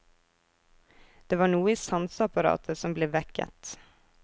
Det var noe i sanseapparatet som ble vekket.